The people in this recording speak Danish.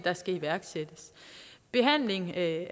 skal iværksættes behandling af